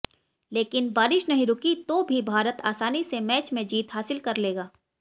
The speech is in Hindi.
लेकिन बारिश नहीं रुकी तो भी भारत आसानी से मैच में जीत हासिल कर लेगा